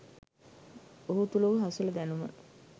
ඔහු තුළ වූ හසල දැනුම